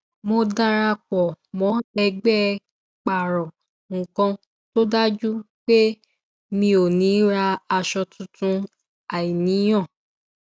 mo darapọ mọ ẹgbẹ pààrò nnkan tó dájú pé mi ò ní rà aṣọ tuntun àìníyàn